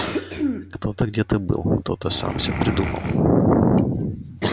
кто-то где-то был кто-то сам все придумал